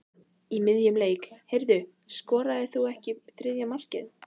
Í miðjum leik: Heyrðu, skoraðir þú ekki þriðja markið?